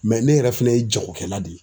ne yɛrɛ fɛnɛ ye jagokɛla de ye.